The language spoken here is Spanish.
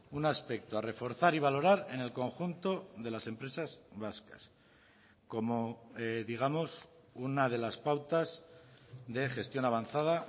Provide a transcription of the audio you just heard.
un aspecto a reforzar y valorar en el conjunto de las empresas vascas como digamos una de las pautas de gestión avanzada